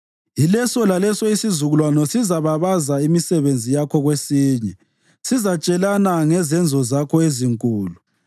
Yileso laleso isizukulwane sizababaza imisebenzi yakho kwesinye; sizatshelana ngezenzo zakho ezinkulu.